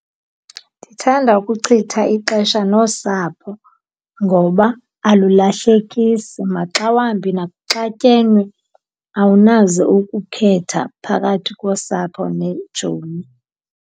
Ndithanda ukuchitha ixesha nosapho ngoba alulahlekisi, maxawambi nakuxatyenwe awunaze ukukhetha phakathi kosapho neetshomi.